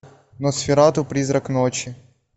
носферату призрак ночи